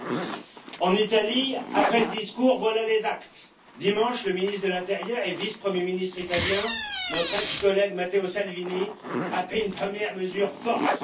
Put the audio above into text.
Monsieur le Président, en Italie, après le discours, voilà les actes! Dimanche, le ministre de l'intérieur et vice Premier ministre italien, notre ex collègue Matteo Salvini, a pris une première mesure forte.